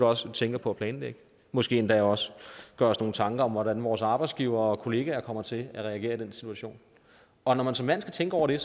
også tænker på at planlægge måske endda også gør os nogle tanker om hvordan vores arbejdsgivere og kollegaer kommer til at reagere i den situation og når man som mand skal tænke over det er